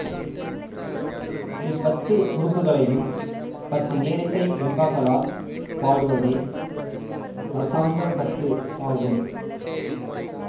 இப் பத்து உறுப்புக்களையும் பத்து நேரிசை வெண்பாக்களால் பாடுவதே தசாங்கப்பத்து ஆகும்